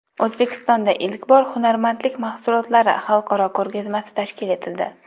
O‘zbekistonda ilk bor hunarmandlik mahsulotlari xalqaro ko‘rgazmasi tashkil etildi.